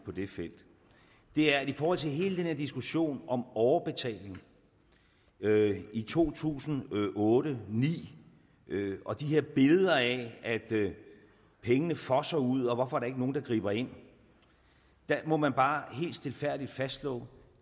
på det felt er at i forhold til hele den her diskussion om overbetaling i to tusind og otte ni og de her billeder af at pengene fosser ud og hvorfor der ikke er nogen der griber ind må man bare helt stilfærdigt fastslå